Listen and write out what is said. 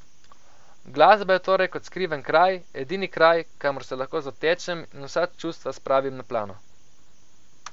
Glasba je torej kot skriven kraj, edini kraj, kamor se lahko zatečem in vsa ta čustva spravim na plano.